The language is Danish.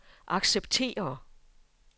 acceptere